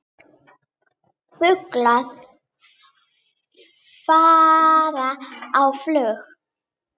Fuglar fara á flug.